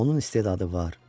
Onun istedadı var.